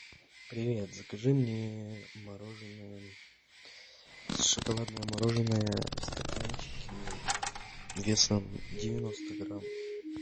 привет закажи мне мороженое шоколадное мороженое в стаканчике весом девяносто грамм